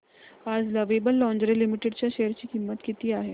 आज lovable lingerie limited च्या share ची किंमत किती आहे